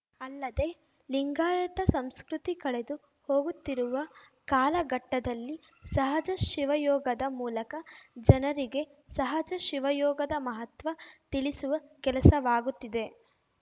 ಅಲ್ಲದೇ ಲಿಂಗಾಯತ ಸಂಸ್ಕೃತಿ ಕಳೆದು ಹೋಗುತ್ತಿರುವ ಕಾಲಘಟ್ಟದಲ್ಲಿ ಸಹಜ ಶಿವಯೋಗದ ಮೂಲಕ ಜನರಿಗೆ ಸಹಜ ಶಿವಯೋಗದ ಮಹತ್ವ ತಿಳಿಸುವ ಕೆಲಸವಾಗುತ್ತಿದೆ